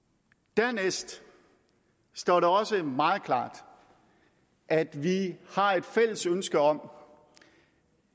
dernæst står det også meget klart at vi har et fælles ønske om